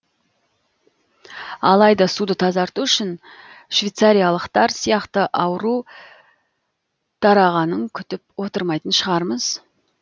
алайда суды тазарту үшін швецариялықтар сияқты ауру тарағаның күтіп отырмайтын шығармыз